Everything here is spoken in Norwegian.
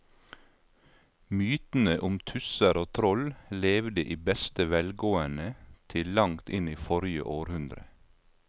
Mytene om tusser og troll levde i beste velgående til langt inn i forrige århundre.